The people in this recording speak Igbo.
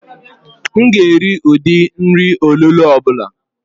M ga-eri ụdị nri olulo ọ bụla